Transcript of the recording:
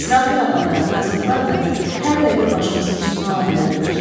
İsrafil ağa da, Qazaxlar da hər dəqiqə başımızın üstünə ala bilərlər.